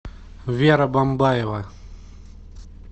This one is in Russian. вера бамбаева